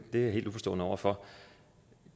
jeg helt uforstående over for